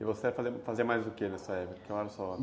E você ia fazer, você fazia mais do quê nessa época?